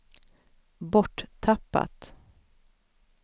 borttappat